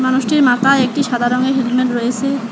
মানুষটির মাথায় একটি সাদা রঙের হেলমেট রয়েসে।